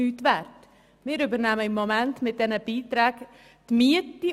Mit den Beiträgen übernehmen wir im Moment die Miete.